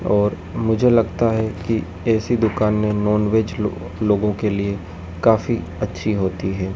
और मुझे लगता है कि ऐसी दुकाने नॉनवेज लोग लोगों के लिए काफी अच्छी होती है।